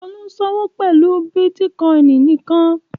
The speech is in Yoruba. Olú ń ṣòwò pẹ̀lú bítíkọ́ìn nìkan